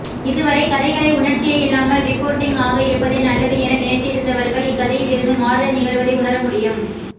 இதுவரை கதைகளை உணர்ச்சியே இல்லாமல் ரிப்போர்ட்டிங் ஆக இருப்பதே நல்லது என நினைத்திருந்தவர்கள் இக்கதையிலிருந்து மாறுதல் நிகழ்வதை உணரமுடியும்